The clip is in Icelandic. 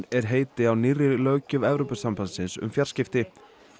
er heiti á nýrri löggjöf Evrópusambandsins um fjarskipti